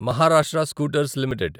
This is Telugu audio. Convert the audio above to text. Maharashtra scooters limited